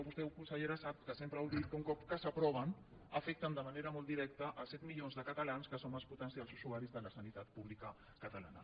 vostè consellera sap que sempre ho dic que un cop que s’aproven afecten de manera molt directa set milions de catalans que som els potencials usuaris de la sanitat pública catalana